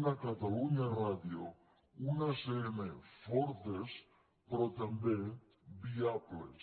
una catalunya ràdio una acn fortes però també viables